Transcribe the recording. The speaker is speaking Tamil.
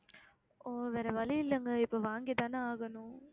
ஓ வேற வழி இல்லைங்க இப்போ வாங்கித்தானே ஆகணும்